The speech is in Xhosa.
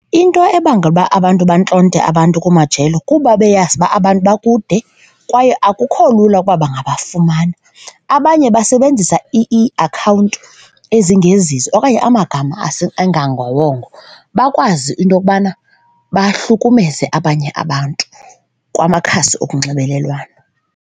Into ebangela uba abantu bantlonte abantu kumajelo kuba beyazi uba abantu bakude kwaye akukho lula ukuba bangafumana. Abanye basebenzisa iiakhawunti ezingezizo okanye amagama angangawongo bakwazi into yokubana bahlukumeze abanye abantu kwamakhasi onxibelelwano.